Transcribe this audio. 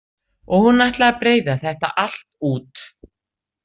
Og hún ætlaði að breiða þetta allt út.